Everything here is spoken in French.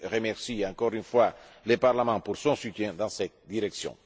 Je remercie encore une fois le Parlement pour son soutien dans cette direction.